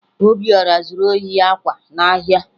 Obiọra zuru ohi akwa n'ahịa